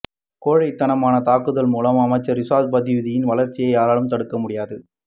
கோழைத்தனமான தாக்குத்தல் மூலம் அமைச்சர் ரிசாத் பதீயுத்தினின் வளர்ச்சியை யாராலும் தடுக்க முடியாது